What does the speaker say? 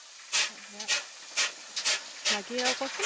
সেয়া বাকী আৰু ক্চোন